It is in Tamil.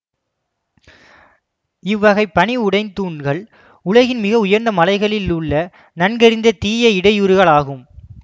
இவ்வகை பனி உடைதூண்கள் உலகின் மிக உயர்ந்த மலைகளில் உள்ள நன்கறிந்த தீய இடையூறுகள் ஆகும்